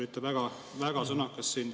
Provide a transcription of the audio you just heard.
Sest te olite väga sõnakas siin.